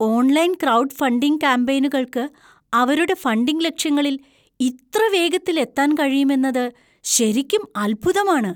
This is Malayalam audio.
ഓൺലൈൻ ക്രൌഡ് ഫണ്ടിംഗ് കാമ്പെയ്നുകൾക്ക് അവരുടെ ഫണ്ടിംഗ് ലക്ഷ്യങ്ങളിൽ ഇത്ര വേഗത്തിൽ എത്താൻ കഴിയുമെന്നത് ശരിക്കും അത്ഭുതമാണ്.